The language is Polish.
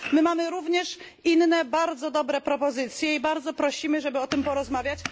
My mamy również inne bardzo dobre propozycje i bardzo prosimy, żeby o tym porozmawiać.